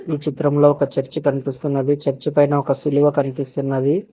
ఈ చిత్రంలో ఒక చర్చి కనిపిస్తున్నది చర్చి పైన ఒక సిలువ కనిపిస్తున్నది.